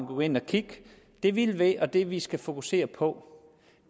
gå ind og se det vi vil og det vi skal fokusere på